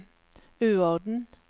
uorden